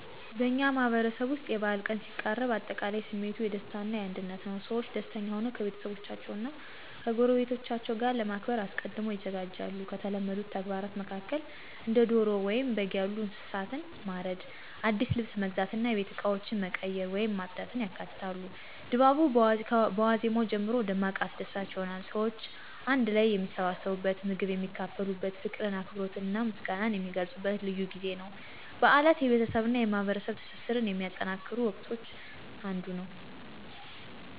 በእኛ ማህበረሰብ ውስጥ የበዓል ቀን ሲቃረብ አጠቃላይ ስሜቱ የደስታ እና የአንድነት ነው። ሰዎች ደስተኛ ሆነው ከቤተሰቦቻቸው እና ከጎረቤቶቻቸው ጋር ለማክበር አስቀድመው ይዘጋጃሉ። ከተለመዱት ተግባራት መካከል እንደ ዶሮ ወይም በግ ያሉ እንስሳትን ማረድ፣ አዲስ ልብስ መግዛት እና የቤት እቃዎችን መቀየር ወይም ማጽዳት ያካትታሉ። ድባቡ በዋዜማው ጀምሮ ደማቅ አስደሳች ይሆናል። ሰዎች አንድ ላይ የሚሰባሰቡበት፣ ምግብ የሚካፈሉበት፣ ፍቅርን፣ አክብሮትንና ምስጋናን የሚገልጹበት ልዩ ጊዜ ነው። በዓላት የቤተሰብ እና የማህበረሰብ ትስስርን ከሚጠናከሩበት ወቅቶች አንዱ ነው።